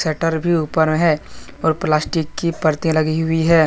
Shutter भी ऊपर हैं और प्लास्टिक की पर्दे लगी हुई हैं।